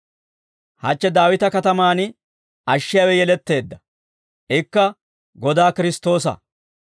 Hachche Daawita katamaan ashshiyaawe yeletteedda. Ikka Godaa Kiristtoosa.